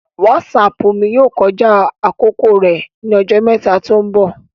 Wásáápu mi yoo kọja akoko rẹ ni ọjọ mẹta to nbọ